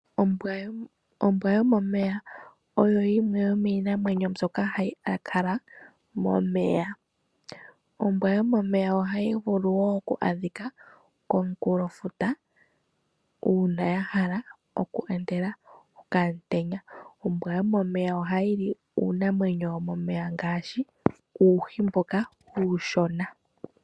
Ombwa yomomeya oyo yimwe yomiinamwenyo mbyoka ya kala momeya. Ombwa yomomeya ohayi vulu woo oku adhika komukulofuta uuna ya hala oku ontela okamuntenya. Ombwa yomomeya ohayi li uunamwenyo womomeya ngaashi uuhi mboka uushona.